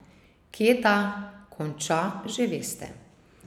Kje ta konča, že veste ...